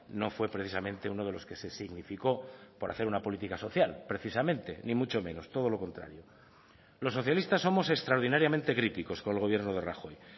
no fue precisamente uno de los que se significó por hacer una política social precisamente ni mucho menos todo lo contrario los socialistas somos extraordinariamente críticos con el gobierno de rajoy